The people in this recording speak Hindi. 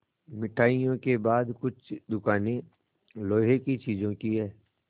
मिठाइयों के बाद कुछ दुकानें लोहे की चीज़ों की हैं